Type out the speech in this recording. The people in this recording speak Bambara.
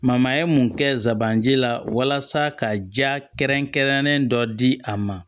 ye mun kɛ zaban ji la walasa ka ja kɛrɛnkɛrɛnnen dɔ di a ma